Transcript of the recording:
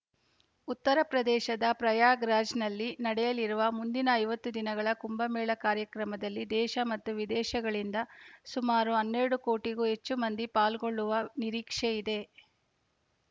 ಉತ್ತರ ಪ್ರದೇಶದ ಪ್ರಯಾಗ್‌ರಾಜ್ನಲ್ಲಿ ನಡೆಯಲಿರುವ ಮುಂದಿನ ಐವತ್ತು ದಿನಗಳ ಕುಂಭಮೇಳ ಕಾರ್ಯಕ್ರಮದಲ್ಲಿ ದೇಶ ಮತ್ತು ವಿದೇಶಗಳಿಂದ ಸುಮಾರು ಹನ್ನೆರಡು ಕೋಟಿಗೂ ಹೆಚ್ಚು ಮಂದಿ ಪಾಲ್ಗೊಳ್ಳುವ ನಿರೀಕ್ಷೆಯಿದೆ